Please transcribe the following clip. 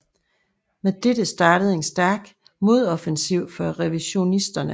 Men dette startede en stærk modoffensiv fra revisionisterne